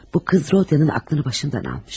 Bu qız Rodiya'nın ağlını başından almış.